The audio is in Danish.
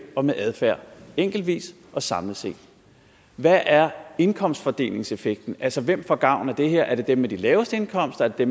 og med adfærd enkeltvist og samlet set hvad er indkomstfordelingseffekten altså hvem får gavn af det her er det dem med de laveste indkomster er det